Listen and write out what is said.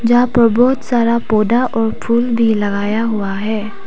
जहाँ पर बहोत सारा पौधा और फूल भी लगाया हुआ है।